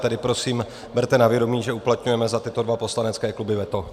Tedy prosím, berte na vědomí, že uplatňujeme za tyto dva poslanecké kluby veto.